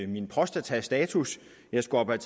min prostatastatus jeg skal op og